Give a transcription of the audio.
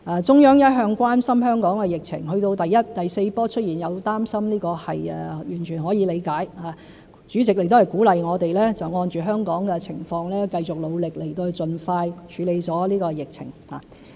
中央一向關心香港的疫情，到第四波疫情出現，有擔心是完全可以理解的，主席亦鼓勵我們按着香港的情況繼續努力，盡快處理好疫情。